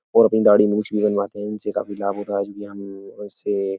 और अपनी दाड़ी मूंछ भी बनवाते हैं। इनसे काफी लाभ होता है जो कि हम उससे --